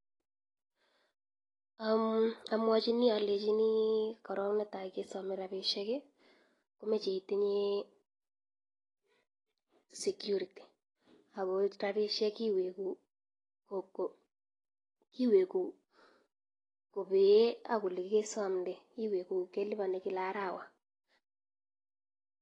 Amwachi alenchi korok ne tai keome rapishek komeche itinye security ako rapishek iweku kobee ak ole kesomde, iweku kelipani kila arawa.